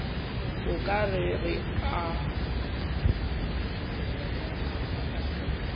o ka re o a